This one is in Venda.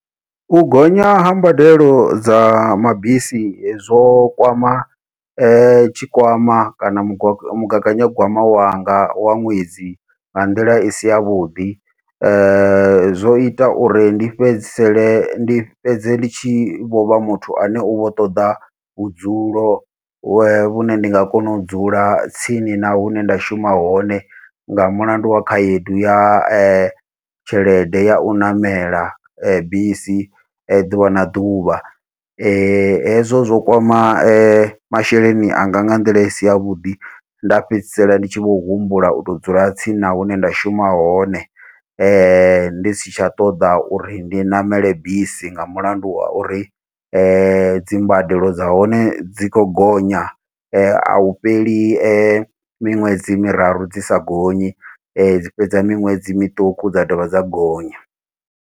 U gonya ha mbadelo dza mabisi zwo kwama tshikwama kana mugwa mugaganyagwama wanga wa ṅwedzi nga nḓila isi yavhuḓi, zwo ita uri ndi fhedzisele ndi fhedze ḽitshi vho vha muthu ane uvho ṱoḓa vhudzulo vhu vhune ndi nga kona u dzula tsini na hune nda shuma hone nga mulandu wa khaedu ya tshelede yau ṋamela bisi ḓuvha na ḓuvha. Hezwo zwo kwama masheleni anga nga nḓila isi yavhuḓi nda fhedzisela ndi tshi vho humbula uto dzula tsini na hune nda shuma hone, ndi si tsha ṱoḓa uri ndi ṋamele bisi nga mulandu wa uri dzi mbadelo dza hone dzi khou gonya ahu fheli miṅwedzi miraru dzi sa gonyi, dzi fhedza miṅwedzi miṱuku dza dovha dza gonya.